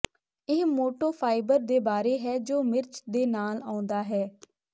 ਇਹ ਮੋਟੇ ਫਾਈਬਰ ਦੇ ਬਾਰੇ ਹੈ ਜੋ ਮਿਰਚ ਦੇ ਨਾਲ ਆਉਂਦਾ ਹੈ